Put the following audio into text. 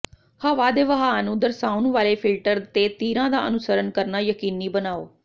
ਹਵਾ ਦੇ ਵਹਾਅ ਨੂੰ ਦਰਸਾਉਣ ਵਾਲੇ ਫਿਲਟਰ ਤੇ ਤੀਰਾਂ ਦਾ ਅਨੁਸਰਣ ਕਰਨਾ ਯਕੀਨੀ ਬਣਾਓ